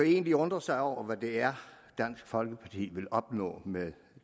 egentlig undre sig over hvad det er dansk folkeparti vil opnå med